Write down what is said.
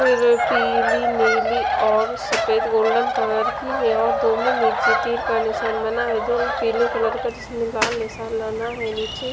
फिर पीली नीली और सफेद गोल्डन कलर की है नीचे तीर का निशान बना है जो पीले कलर का जिसमें लाल निशान बना है नीचे।